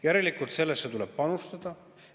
Järelikult tuleb sellesse panustada.